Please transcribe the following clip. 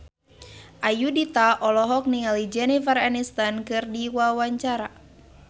Ayudhita olohok ningali Jennifer Aniston keur diwawancara